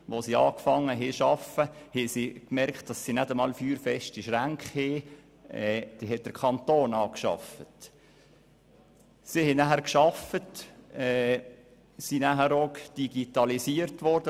Als der Betrieb aufgenommen wurde, merkte man, dass die vom Kanton angeschafften Schränke nicht feuerfest waren.